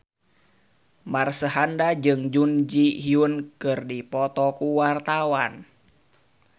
Marshanda jeung Jun Ji Hyun keur dipoto ku wartawan